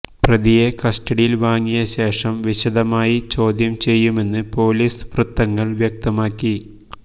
പ്രതിയെ കസ്റ്റഡിയിൽ വാങ്ങിയ ശേഷം വിശദമായി ചോദ്യം ചെയ്യുമെന്ന് പൊലീസ് വൃത്തങ്ങൾ വ്യക്തമാക്കി